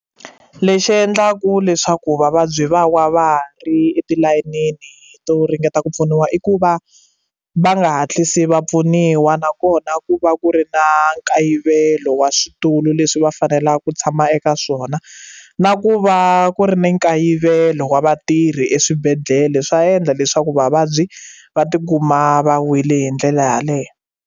Lexi endlaka leswaku vavabyi va wa va ri etilayenini to ringeta ku pfuniwa i ku va va nga hatlisi va pfuniwa nakona ku va ku ri na nkayivelo wa switulu leswi va fanelaka ku tshama eka swona na ku va ku ri na nkayivelo wa vatirhi eswibedhlele swa endla leswaku vavabyi va tikuma va wile hi ndlela yaleyo.